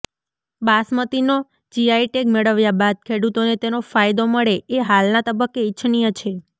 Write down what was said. બાસમતીનો GI tag મેળવ્યા બાદ ખેડૂતોને તેનો ફાયદો મળે એ હાલના તબક્કે ઇચ્છનીય છે